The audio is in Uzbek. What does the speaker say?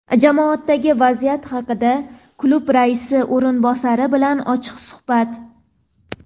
Jamoadagi vaziyat haqida klub raisi o‘rinbosari bilan ochiq suhbat.